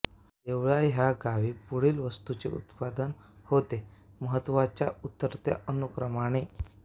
देवळा ह्या गावी पुढील वस्तूंचे उत्पादन होते महत्त्वाच्या उतरत्या अनुक्रमाने